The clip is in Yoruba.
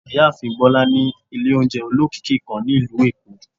Ìyáàfín bola ni ilé oúnjẹ ólọkíkí kan ni ilú Èko